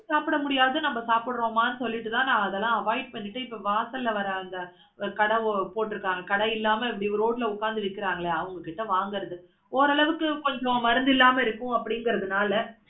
சாப்பிட முடியாது நாம சாப்பிடுறோமா சொல்லிட்டு அதெல்லாம் avoid பண்ணிட்டு இப்ப வாசல்ல வர அந்த கடை போட்டுருக்காங்க கடை இல்லாம இப்படி road ல உட்கார்ந்து விக்குறாங்களே அவங்கிட்ட வாங்குறது ஒஅர் அளவுக்கு கொஞ்சம் மருந்து இல்லாம இருக்கும் அப்படிங்கிறால